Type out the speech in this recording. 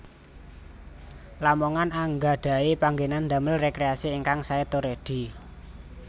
Lamongan anggadhahi panggenan damel rekreasi ingkang sae tur edi